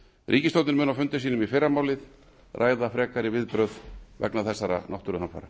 ríkisstjórnin mun á fundi sínum í fyrramálið ræða frekar viðbrögð vegna þessara náttúruhamfara